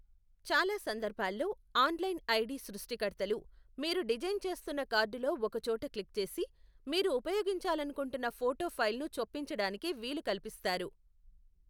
చాలా సందర్భాల్లో, online ID సృష్టికర్తలు మీరు డిజైన్ చేస్తున్న కార్డులో ఒక చోట క్లిక్ చేసి, మీరు ఉపయోగించాలనుకుంటున్న ఫోటో ఫైల్ను చొప్పించడానికి వీలు కల్పిస్తారు.